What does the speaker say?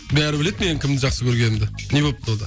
бәрі біледі мен кімді жақсы көргенімді не болыпты онда